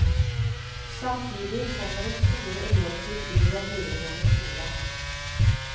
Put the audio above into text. Samtidig kommer det store elevkull inn i den videregående skolen.